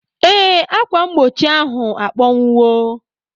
Ee, ákwà mgbochi ahụ akpọnwụwo.